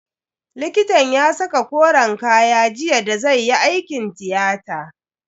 Likitan ya saka koren kaya jiya da zai yi aikin tiyata.